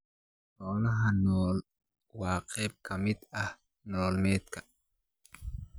Xoolaha nool waa qayb ka mid ah nolol maalmeedka.